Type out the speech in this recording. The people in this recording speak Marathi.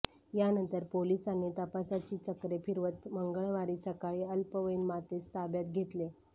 यानंतर पोलिसांनी तपासाची चक्रे फिरवत मंगळवारी सकाळी अल्पवयीन मातेस ताब्यात घेतले